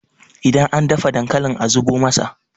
idan an dafa dankalin a zubo masa!